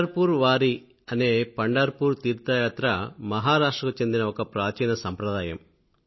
పండర్ poor Wari అనే పండర్పూర్ తీర్థయాత్ర మహారాష్ట్ర కు చెందిన ఒక ప్రాచీన సంప్రదాయం